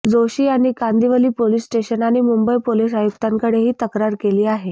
जोशी यांनी Kandivali police station आणि Mumbai police आयुक्तांकडे ही तक्रार केली आहे